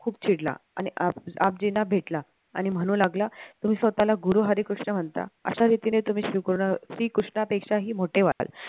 खूप चिडला आणि आबजींना भेटला आणि म्हणू लागला तुम्ही स्वतःला गुरु हरिकृष्ण म्हणता अशा रीतीने तुम्ही श्री कृष्णापेक्षाही मोठे व्हाल